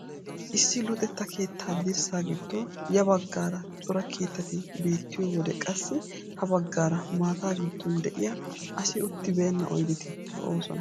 Issi luxetta keettaa dirssa giddon ya baggaara cora keettati beettiyoo wode qassi ha baggaara maata giddon de'iyaa asi uttibeena oydeti lo"oosona.